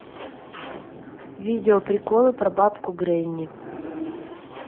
видео приколы про бабку гренни